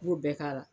I b'o bɛɛ k'a la